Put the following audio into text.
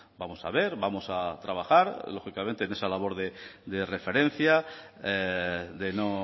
vamos a ver vamos a trabajar lógicamente en esa labor de referencia de no